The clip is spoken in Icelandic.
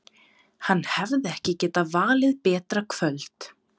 Hann hefði ekki getað valið betra kvöld.